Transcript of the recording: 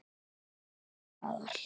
Alltaf til staðar.